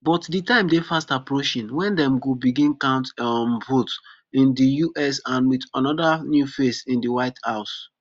but di time dey fast approaching wen dem go begin count um votes in di us and wit anoda new face in di white house